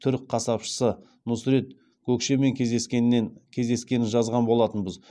түрік қасапшысы нұсрет гөкшемен кездескенін жазған болатынбыз